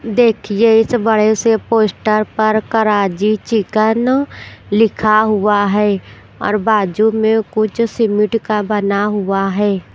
देखिए इस बड़े से पोस्टर पर कराजी चिकन लिखा हुआ है और बाजू में कुछ सिमिट का बना हुआ है।